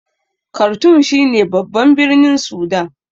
Kartum shi ne babban birnin Sudan